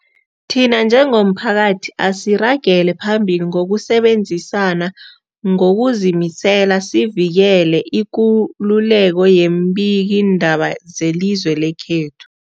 Thina njengomphakathi, asiragele phambili ngokusebenzisana ngokuzimisela sivikele ikululeko yeembikiindaba zelizwe lekhethu.